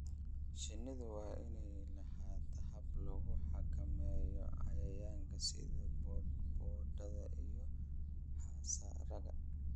Shinnidu waa inay lahaataa habab lagu xakameeyo cayayaanka sida boodada iyo xasaradaha.